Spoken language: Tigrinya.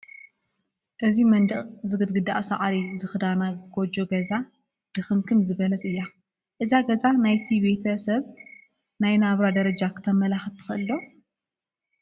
እዛ መንደቕ ዝግድግድኣ ሳዕሪ ዝኽዳና ጎጆ ገዛ ድኽምክም ዝበለት እያ፡፡ እዛ ገዛ ናይቲ ቤተ ሰብ ናይ ናብራ ጀረጃ ክተመላኽተና ትኽእል ዶ?